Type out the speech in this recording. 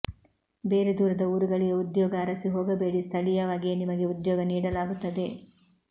ಬೇರೆ ದೂರದ ಊರುಗಳಿಗೆ ಉದ್ಯೋಗ ಅರಿಸಿ ಹೋಗಬೇಡಿ ಸ್ಥಳಿಯವಾಗಿಯೇ ನಿಮಗೆ ಉದ್ಯೋಗ ನೀಡಲಾಗುತ್ತದೆ